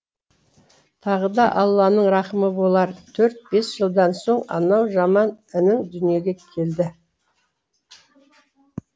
тағы да алланың рахымы болар төрт бес жылдан соң анау жаман інің дүниеге келді